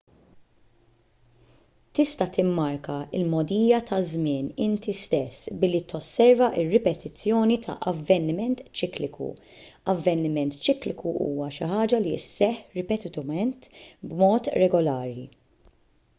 tista' timmarka l-mogħdija taż-żmien inti stess billi tosserva r-ripetizzjoni ta' avveniment ċikliku avveniment ċikliku huwa xi ħaġa li sseħħ ripetutament b'mod regolari